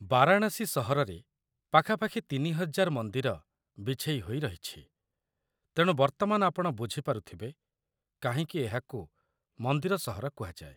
ବାରାଣାସୀ ସହରରେ ପାଖାପାଖି ୩୦୦୦ ମନ୍ଦିର ବିଛେଇ ହୋଇ ରହିଛି, ତେଣୁ ବର୍ତ୍ତମାନ ଆପଣ ବୁଝି ପାରୁଥିବେ କାହିଁକି ଏହାକୁ 'ମନ୍ଦିର ସହର' କୁହାଯାଏ।